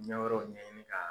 Ɲɛ wɛrɛw ɲɛni ka